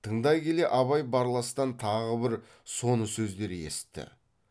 тыңдай келе абай барластан тағы бір соны сөздер есітті